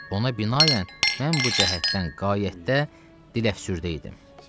Ona binaən mən bu cəhətdən qayaətdə diləfsürdə idim.